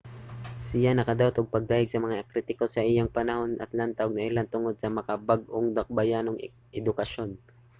siya nakadawat og pagdayeg sa mga kritiko sa iyang panahon sa atlanta ug nailhan tungod sa makabag-ong dakbayanong edukasyon